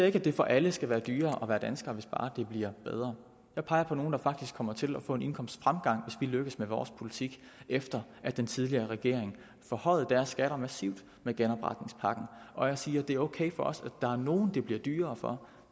ikke at det for alle skal være dyrere at være dansker hvis bare det bliver bedre jeg peger på nogle der faktisk kommer til at få en indkomstfremgang hvis vi lykkes med vores politik efter at den tidligere regering forhøjede deres skatter massivt med genopretningspakken og jeg siger at det er ok for os at der er nogle det bliver dyrere for